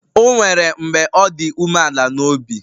O nwere mgbe ọ dị umeala n'obi